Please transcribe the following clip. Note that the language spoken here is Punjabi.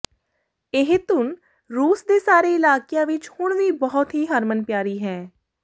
ਇਹ ਧੁੰਨ ਰੂਸ ਦੇ ਸਾਰੇ ਇਲਾਕਿਆਂ ਵਿੱਚ ਹੁਣ ਵੀ ਬਹੁਤ ਹੀ ਹਰਮਨ ਪਿਆਰੀ ਹੈ